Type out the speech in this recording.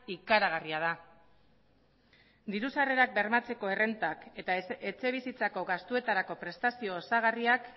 ikaragarria da diru sarrerak bermatzeko errentak eta etxebizitzako gastuetarako prestazio osagarriak